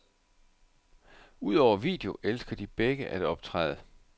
Udover video elsker de begge at optræde.